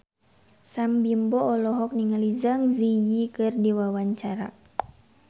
Sam Bimbo olohok ningali Zang Zi Yi keur diwawancara